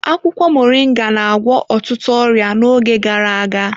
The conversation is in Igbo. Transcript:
Akwụkwọ Moringa na-agwọ ọtụtụ ọrịa n'oge gara aga.